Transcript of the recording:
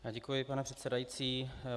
Děkuji, pane předsedající.